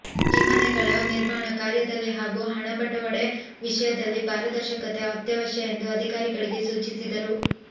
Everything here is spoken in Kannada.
ಈ ಮನೆಗಳ ನಿರ್ಮಾಣ ಕಾರ್ಯದಲ್ಲಿ ಹಾಗೂ ಹಣ ಬಟವಡೆ ವಿಷಯದಲ್ಲಿ ಪಾರದರ್ಶಕತೆ ಅತ್ಯವಶ್ಯ ಎಂದು ಅಧಿಕಾರಿಗಳಿಗೆ ಸೂಚಿಸಿದರು